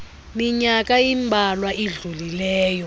minyaka imbalwa idlulileyo